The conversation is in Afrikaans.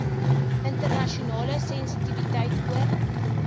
internasionale sensitiwiteit oor